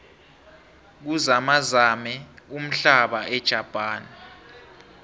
kuzamazame umhlaba ejapane